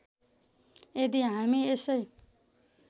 यदि हामी यसै